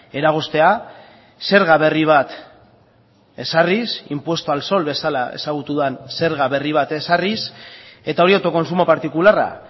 eragoztea zerga berri bat ezarriz impuesto al sol bezala ezagutu den zerga berri bat ezarriz eta hori autokontsumo partikularra